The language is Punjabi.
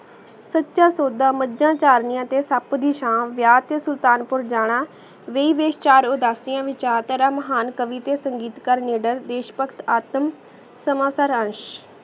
ਸਚਾ ਸੋਦਾ ਮਜਾ ਚਾਰ੍ਨਿਯਾ ਤੇ ਸੂਪ ਦੀ ਸ਼ਾ ਵਿਆ ਤੇ ਸੁਲਤਾਨਪੁਰ ਜਾਣਾ ਵੀ ਵੈਸ਼ ਚਾਰ ਊ ਦਸ ਦਿਯਾ ਵਿਚਾਰ ਤਾਰਾ ਮਹਾਂ ਕਾਵਿਤਿਆ ਸੰਗੀਤ ਕਰ ਨਦਰ ਦੇਸ਼ਭਕਤ ਆਤਮ